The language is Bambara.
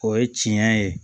O ye tiɲɛ ye